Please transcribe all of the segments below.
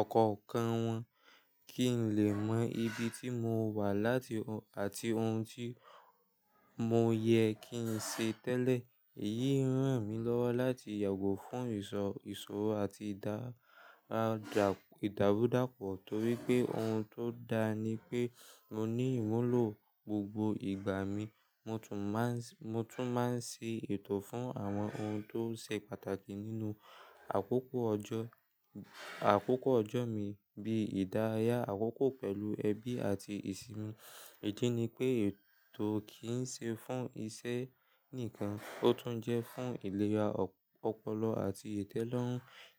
ọ̀kọ̀ọ̀kan wọn kí n lè mọ ibi tí mo wà àti ohun tí mo yẹ kí n ṣe tẹ́lẹ̀. Èyí ń ràn mí lọ́wọ́ láti yàgò fún ìṣòro àti ìdàrúdápọ̀ torí pé ohun tó dá ni pé mo ní ìmúlò gbogbo ìgbà mi. Mo tún máa Mo tún máa ń ṣe ètò fún àwọn ohun tó ṣe pàtàkì nínú àkókò ọjọ́, àkókò ọjọ́ mi bíi ìdárayá àkókò pẹ̀lú ẹbí àti ìsinmi. Ìdì ni pé ètò kì í ṣe fún iṣẹ́ nìkan, ó tún jẹ́ fún ìlera ọpọlọ àti ìtẹ́lọ́rùn.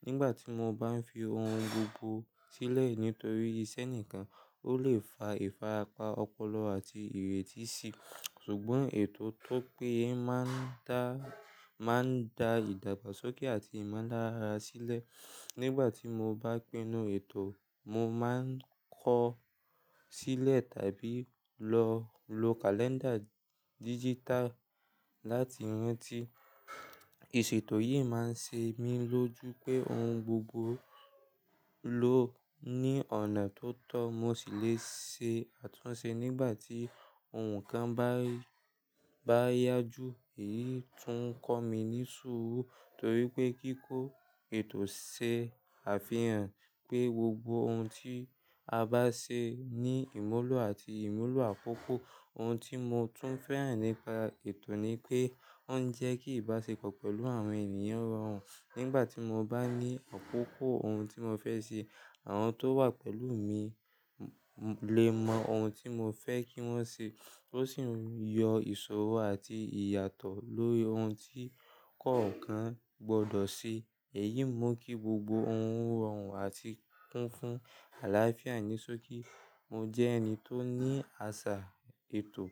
Nígbà tí mo bá ń fi ohun gbogbo sílẹ̀ nítorí iṣẹ́ nìkan, ó lè fa ìfarapa ọpọlọ àti ìrètí síi. Ṣùgbọ́n ètò tó péye máa ń da ìdàgbàsókè àti ìmọlára sílẹ̀. Nígbà tí mo bá pinnu ètò, mo máa ń kọ sílẹ̀ tàbí lo kàléńdà digital láti rántí. Ìṣètò yìí máa ń ṣe mí lójú pé ohun gbogbo ló ní ọ̀nà tó tọ́, mo sì lè ṣe àtúnṣe nígbà tí ohun kan bá yá ju. Èyí tún ń kọ́ mi ní súurù torí pé kíkó ètò ṣe àfihàn pé gbogbo ohun tí a bá ṣe ní ìmúlò àti ìmúlò àkókò. Ohun tí mo tún fẹ́ràn nípa ètò ni pé ó ń jẹ́ kí ìbáṣepọ̀ pẹ̀lú àwọn ènìyàn rọrùn. Nígbà tí mo bá ní àkókò ohun tí mo fẹ́ ṣe, àwọn tó wà pẹ̀lú mi lè mọ ohun tí mo fẹ́ kí wọ́n ṣe, ó sì yọ ìṣòro àti ìyàtọ̀ lórí ohun tí kọ̀ọ̀kan gbọdọ̀ ṣe. Èyí mú kí gbogbo ohun rọrùn àti kún fún àlàáfíà ní ṣókí. Mo jẹ́ ẹni tó ní àṣà ètò,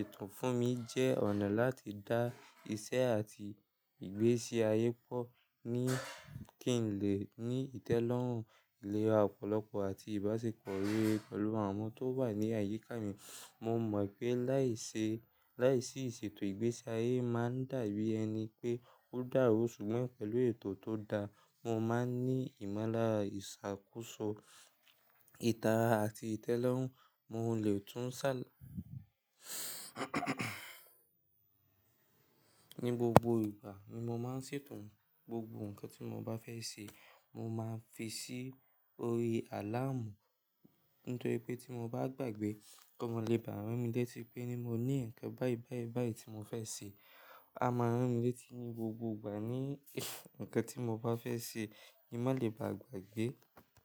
ètò fún mi jẹ́ ọ̀nà láti dá iṣẹ́ àti ìgbésí ayé pọ̀ kí n lè ní ìtẹ́lọ́rùn, ìlera ọpọlọpọ àti ìbáṣepọ̀ rere pẹ̀lú àwọn tó wà ní àyíká mi. Mo mọ̀ pé láìsí ìṣètò ìgbésí ayé máa dàbí ẹni pé ó dàrú ṣùgbọ́n pẹ̀lú ètò tó dáa, mo máa ń ní ìmọlára, ìṣàkóso, ìtara àti ìtẹ́lọ́rùn, mo lè tún ṣàlàyé ní gbogbo ìgbà ni mo máa ń ṣètò gbogbo nǹkan tí mo bá fẹ́ ṣe, mo máa ń fi sí orí àláàmù nítorí pé tí mo bá gbàgbé kí maa lè bá ranmi létí pé ni mo ní nǹkan báyì báyì báyì tí mo fẹ́ ṣe. A máa rántí létí ní gbogbo ìgbà ní nǹkan tí mo bá fẹ́ ṣe kí maa lè bá a gbàgbé.